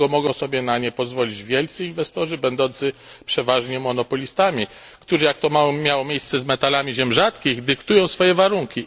Dlatego mogą sobie na nie pozwolić wielcy inwestorzy, będący przeważnie monopolistami, którzy, jak to miało miejsce z metalami ziem rzadkich, dyktują swoje warunki.